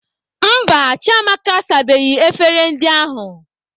Mba, Chiamaka asabeghị efere ndị ahụ.